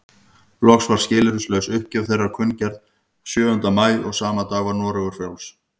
Loks var skilyrðislaus uppgjöf þeirra kunngerð sjöunda maí og sama dag var Noregur frjáls.